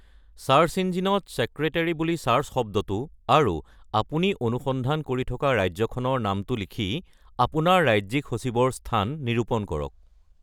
Search ইঞ্জিনত secretary বুলি search শব্দটো আৰু আপুনি অনুসন্ধান কৰি থকা ৰাজ্যখনৰ নামটো লিখি আপোনাৰ ৰাজ্যিক সচিবৰ স্থান নিৰূপণ কৰক।